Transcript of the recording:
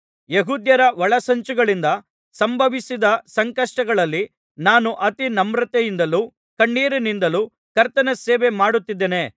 ಯೆಹೂದ್ಯರ ಒಳಸಂಚುಗಳಿಂದ ಸಂಭವಿಸಿದ ಸಂಕಷ್ಟಗಳಲ್ಲಿ ನಾನು ಅತಿ ನಮ್ರತೆಯಿಂದಲೂ ಕಣ್ಣೀರಿನಿಂದಲೂ ಕರ್ತನ ಸೇವೆ ಮಾಡುತ್ತಿದ್ದೇನೆ